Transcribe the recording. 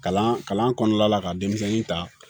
Kalan kalan kɔnɔna la ka denmisɛnnin ta